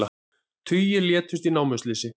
Tugir létust í námuslysi